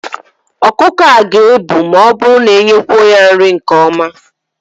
Ọkụkọ a ga-ebu ma ọ bụrụ na inyekwuo ya nri nke ọma.